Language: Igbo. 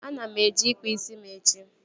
Ana m eje ịkpa isi m echi